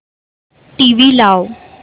TV लाव